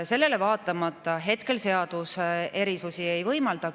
Sellele vaatamata seadus hetkel erisusi ei võimalda.